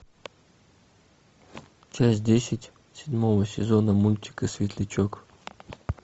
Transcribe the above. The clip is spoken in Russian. часть десять седьмого сезона мультика светлячок